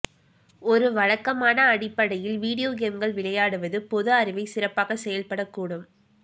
ஒரு வழக்கமான அடிப்படையில் வீடியோ கேம்கள் விளையாடுவது போது அறுவை சிறப்பாக செயல்பட கூடும்